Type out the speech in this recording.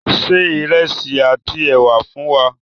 Ṣé ìrẹsí àti è̩wà fún wà!